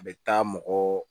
A bɛ taa mɔgɔ